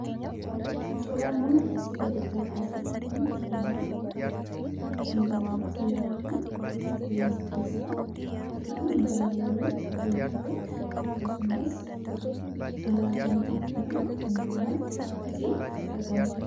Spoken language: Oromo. Suuraan nuun asii gaditti argaa jirru kun suuraa xiyyaaraati. Xiyyaarri kun qilleensa keessa kan balali'u yoo ta'u, akkasumas alaabaan Itoopiyaa kan irratti argamudha.